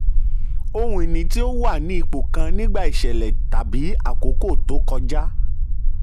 ohun ìní tí ó wà ní ipò kan nígbà iṣẹ̀lẹ̀ tàbí àkókò tó kọjá.